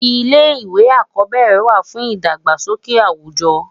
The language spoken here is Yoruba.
Ilé iwé ákòbèrè wá fún idágbásóké áwújò